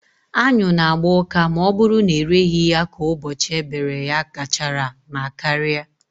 Anyụ na agba ụka ma ọ bụrụ na ereghị ya ka ụbọchị e bere ya gachara ma karịa